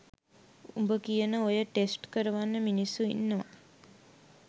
උඹ කියන ඔය ටෙස්ට් කරවන්න මිනිස්සු ඉන්නවා